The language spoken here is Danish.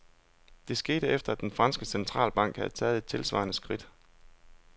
Det skete, efter at den franske centralbank havde taget et tilsvarende skridt.